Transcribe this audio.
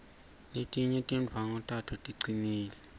letinye tindwvangu tato ticinile